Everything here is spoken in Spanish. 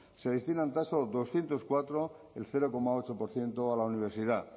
se destinan tan solo doscientos cuatro cero coma ocho por ciento a la universidad